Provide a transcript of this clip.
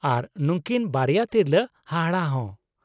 -ᱟᱨ ᱱᱩᱠᱤᱱ ᱵᱟᱨᱭᱟ ᱛᱤᱨᱞᱟᱹ ᱦᱟᱦᱟᱲᱟ ᱦᱚᱸ ᱾